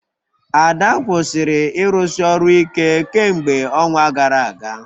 Ada kwụsịrị ịrụsi ọrụ ike kemgbe ọnwa gara aga